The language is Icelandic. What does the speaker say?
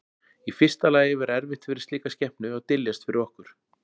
Í fyrsta lagi væri erfitt fyrir slíka skepnu að dyljast fyrir okkur.